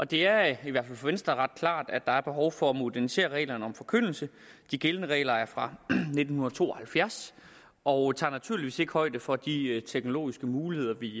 det er i hvert fald for venstre ret klart at der er behov for at modernisere reglerne om forkyndelse de gældende regler er fra nitten to og halvfjerds og tager naturligvis ikke højde for de teknologiske muligheder vi